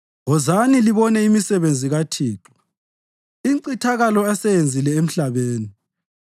Wozani libone imisebenzi kaThixo, incithakalo aseyenzile emhlabeni.